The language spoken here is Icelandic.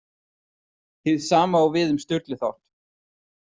Hið sama á við um Sturlu þátt.